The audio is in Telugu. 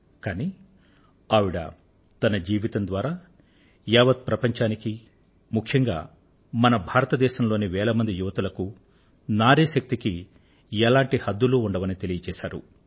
కానీ ఆవిడ తన జీవితం ద్వారా నారీశక్తి కి ఎలాంటి సరిహద్దులూ ఉండవని యావత్ ప్రపంచానికి ముఖ్యంగా మన భారతదేశం లోని వేల మంది యువతులకు వెల్లడి చేశారు